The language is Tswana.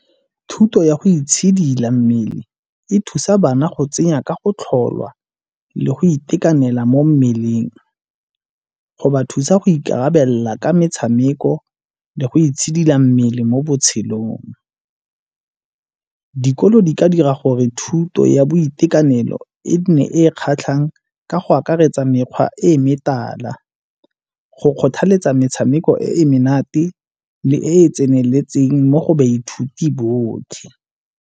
Thuto ya go itshidila mmele e thusa bana go tsenya ka go tlholwa le go itekanela mo mmeleng, go ba thusa go ikarabelela ka metshameko le go itshidila mmele mo botshelong. Dikolo di ka dira gore thuto ya boitekanelo e ne e kgatlhang ka go akaretsa mekgwa e e metala go kgothaletsa metshameko e e menate e e tseneletseng mo go baithuti botlhe.